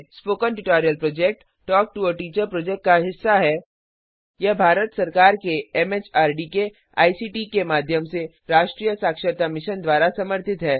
spoken tutorial project talk to a teacher project का हिस्सा है और यह भारत सरकार के एमएचआरडी के आईसीटी के माध्यम से राष्ट्रीय साक्षरता मिशन द्वारा समर्थित है